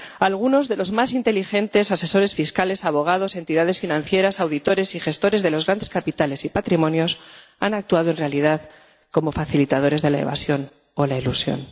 Algunos de los más inteligentes asesores fiscales, abogados, entidades financieras, auditores y gestores de los grandes capitales y patrimonios han actuado en realidad como facilitadores de la evasión o la elusión.